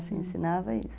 Se ensinava isso.